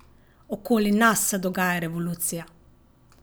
Okoli nas se dogaja revolucija!